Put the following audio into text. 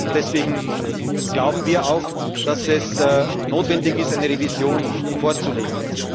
Deswegen glauben wir auch, dass es notwendig ist, eine Revision vorzulegen.